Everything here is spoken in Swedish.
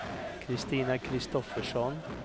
Kristina Kristoffersson